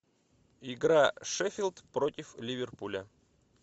игра шеффилд против ливерпуля